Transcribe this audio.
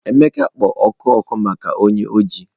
Emeka kpo oku oku maka onye oji.